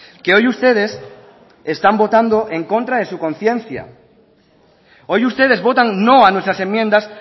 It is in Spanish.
que hoy ustedes están votando en contra de su conciencia hoy ustedes votan no a nuestras enmiendas